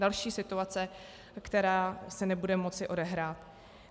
Další situace, která se nebude moci odehrát.